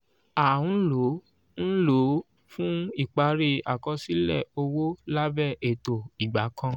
à ń lò ń lò ó fún ìparí àkọsílẹ̀ owó lábẹ́ ètò ìgbà kan.